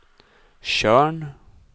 Tjörn